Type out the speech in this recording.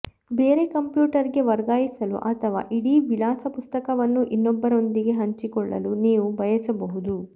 ಬೇರೆ ಕಂಪ್ಯೂಟರ್ಗೆ ವರ್ಗಾಯಿಸಲು ಅಥವಾ ಇಡೀ ವಿಳಾಸ ಪುಸ್ತಕವನ್ನು ಇನ್ನೊಬ್ಬರೊಂದಿಗೆ ಹಂಚಿಕೊಳ್ಳಲು ನೀವು ಬಯಸಬಹುದು